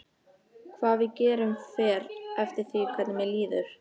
Hvað við gerum fer eftir því hvernig mér líður.